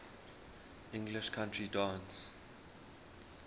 english country dance